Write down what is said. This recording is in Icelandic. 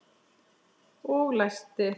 Og læsti.